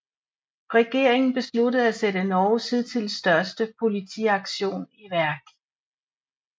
Regeringen besluttede at sætte Norges hidtil største politiaktion i værk